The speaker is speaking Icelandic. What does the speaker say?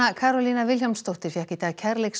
Karólína Vilhjálmsdóttir fékk í dag